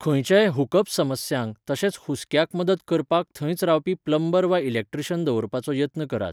खंयच्याय हुकअप समस्यांक तशेंच हुस्क्याक मदत करपाक थंयच रावपी प्लंबर वा इलेक्ट्रीशियन दवरपाचो यत्न करात.